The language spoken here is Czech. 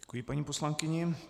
Děkuji paní poslankyni.